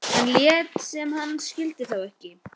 Hann lét sem hann skildi þá ekki.